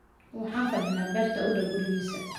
Waxaan fadhinaa beerta u dhow gurigiisa.